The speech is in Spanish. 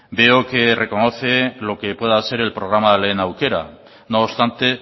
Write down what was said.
veo que reconoce lo que pueda ser el programa lehen aukera no obstante